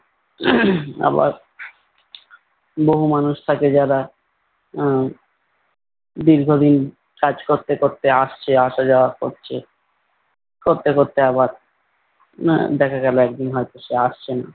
আবার বহু মানুষ থাকে যারা আহ দীর্ঘদিন কাজ করতে করতে আসছে আসা যাওয়া করছে করতে করতে আবার উম দেখা গেলো একদিন হয়ত সে আসছেনা।